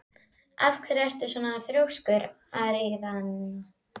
Af hverju ertu svona þrjóskur, Aríaðna?